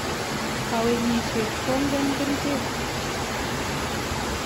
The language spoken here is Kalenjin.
kawenyishet konget kerichek